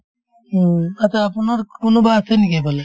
উম, achcha আপোনাৰ কোনোবা আছে নেকি সেইফালে